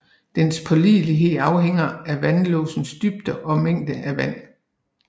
Dens pålidelighed afhænger af vandlåsens dybde og mængden af vand